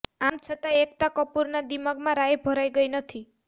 આમ છતાં એકતા કપૂરના દિમાગમાં રાઈ ભરાઈ ગઈ નથી